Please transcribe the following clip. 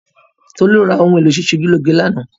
Tolú ra ohun èlò sísọjúlọ́ge lánàá